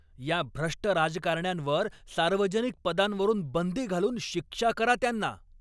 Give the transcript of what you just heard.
या भ्रष्ट राजकारण्यांवर सार्वजनिक पदांवरून बंदी घालून शिक्षा करा त्यांना.